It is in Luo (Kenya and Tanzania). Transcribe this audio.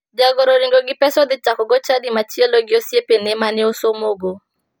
Jagoro oringo gi pesa odhi chakoo chadi machielo gi osiepene mane osomogo.